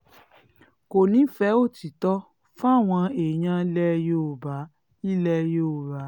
kò nífẹ̀ẹ́ òtítọ́ fáwọn èèyàn ilẹ̀ yorùbá ilẹ̀ yorùbá